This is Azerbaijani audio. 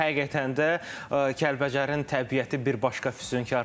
Həqiqətən də Kəlbəcərin təbiəti bir başqa füsunkardır.